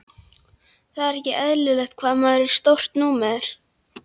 Það er ekkert eðlilegt hvað maður er stórt númer.